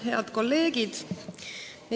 Head kolleegid!